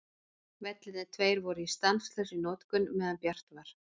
Vellirnir tveir voru í stanslausri notkun meðan bjart var.